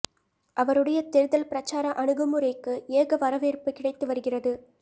அவருடைய தேர்தல் பிரச்சார அணுகுமுறைக்கு ஏக வரவேற்ப்பு கிடைத்து வருகிறது